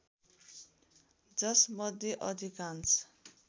जसमध्ये अधिकांश